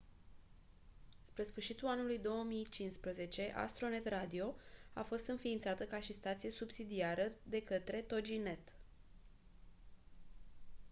spre sfârșitul anului 2015 astronet radio a fost inființată ca și stație subsidiară de către toginet